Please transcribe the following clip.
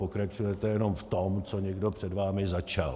Pokračujete jenom v tom, co někdo před vámi začal.